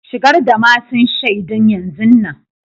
Shigar da masun shaidun yanzun nan.